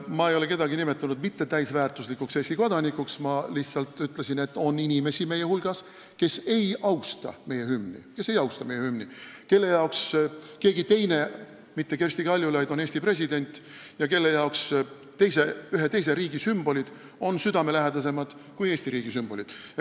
Ma ei ole kedagi nimetanud mittetäisväärtuslikuks Eesti kodanikuks, ma lihtsalt ütlesin, et meie hulgas on inimesi, kes ei austa meie hümni, kelle jaoks on keegi teine Eesti president, mitte Kersti Kaljulaid, ja kellele on ühe teise riigi sümbolid südamelähedasemad kui Eesti riigi sümbolid.